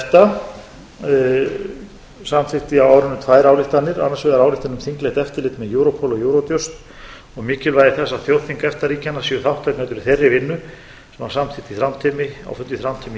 þingmannanefnd efta samþykkti á árinu tvær ályktanir annars vegar ályktun um þinglegt eftirlit með europol og eurojust og mikilvægi þess að þjóðþing efta ríkjanna séu þátttakendur í þeirri vinnu sem var samþykkt á fundi í þrándheimi í